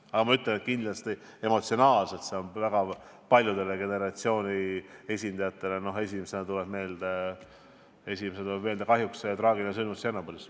Aga jah, kindlasti see on mitme generatsiooni esindajatele emotsionaalselt raske kaalutlus, sest esimesena tuleb kahjuks meelde traagiline sündmus Tšernobõlis.